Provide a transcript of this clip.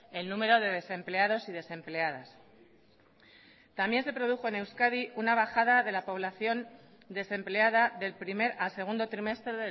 el número de desempleados y desempleadas también se produjo en euskadi una bajada de la población desempleada del primer al segundo trimestre